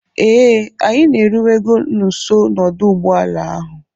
Ee, anyị na-eruwego nso n'ọdụ ụgbọ ala ahụ